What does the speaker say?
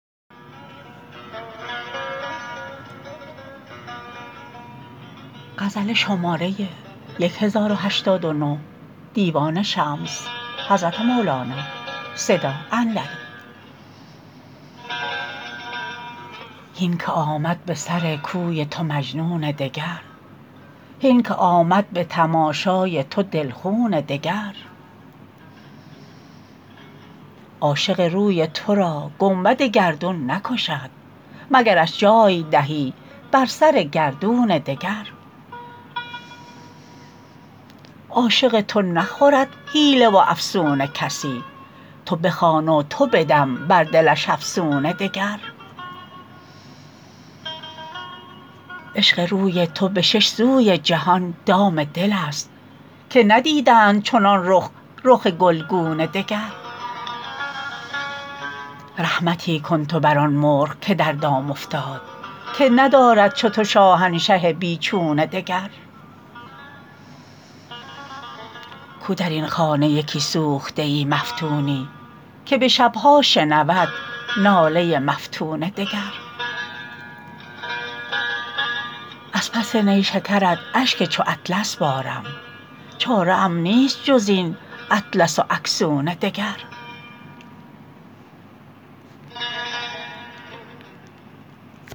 هین که آمد به سر کوی تو مجنون دگر هین که آمد به تماشای تو دل خون دگر عاشق روی تو را گنبد گردون نکشد مگرش جای دهی بر سر گردون دگر عاشق تو نخورد حیله و افسون کسی تو بخوان و تو بدم بر دلش افسون دگر عشق روی تو به شش سوی جهان دام دلست که ندیدند چنان رخ رخ گلگون دگر رحمتی کن تو بر آن مرغ که در دام افتاد که ندارد چو تو شاهنشه بی چون دگر کو در این خانه یکی سوخته مفتونی که به شب ها شنود ناله مفتون دگر از پس نیشکرت اشک چو اطلس بارم چاره ام نیست جز این اطلس و اکسون دگر